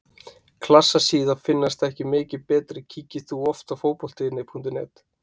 Klassa síða finnast ekki mikið betri Kíkir þú oft á Fótbolti.net?